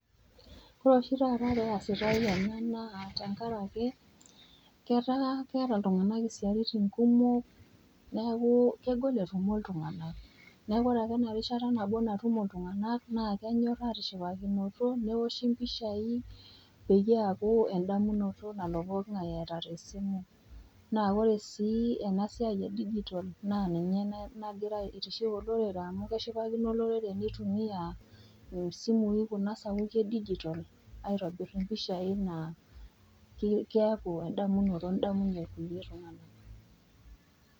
Ore oshi taata peasitai ena naa tenkarake ketaa keata iltung'ana isiaitin kumok neaku, kegol etumo iltung'ana, neaku ore ake ena rishata nabo natumo iltung'ana naa kenyok atishipanato, neoshi impishai peyie eaku endamunoto nalo pooki ng'ai eata te simu naa ore sii ena siai edijitol naa ninye nagira aitiship olorere amu keshipakino olorere neitumia kuna simui sapuki e dijitol aitobir impishai naa keaku endamunoto nidamunye kulie tung'ana.